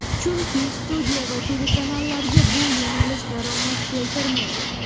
Chunki studiya va telekanallarga bu yo‘nalish daromad keltirmaydi.